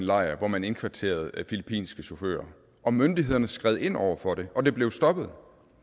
lejr hvor man indkvarterede filippinske chauffører og myndighederne skred ind over for det og det blev stoppet